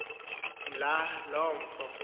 mbla loo mfo